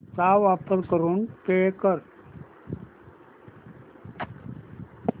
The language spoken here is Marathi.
चा वापर करून पे कर